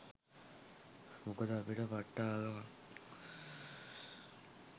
මොකද අපිට පට්ට ආගමක්